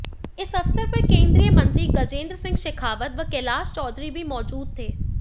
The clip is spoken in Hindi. इस अवसर पर केंद्रीय मंत्री गजेंद्र सिंह शेखावत व कैलाश चौधरी भी मौजूद थे